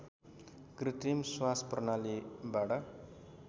कृत्रिम श्वास प्रणालीबाट